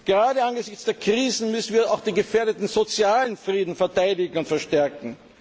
Gerade angesichts der Krisen müssen wir auch den gefährdeten sozialen Frieden verteidigen und verstärken.